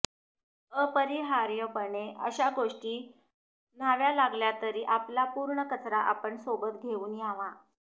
अपरिहार्यपणे अशा गोष्टी न्याव्या लागल्या तरी आपला पूर्ण कचरा आपण सोबत घेऊन यावा